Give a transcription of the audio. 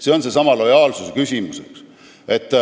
See on seesama lojaalsusküsimus.